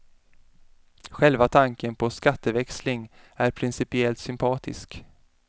Själva tanken på skatteväxling är principiellt sympatisk.